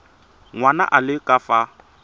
ngwana a le ka fa